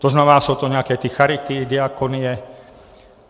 To znamená, jsou to nějaké ty charity, diakonie.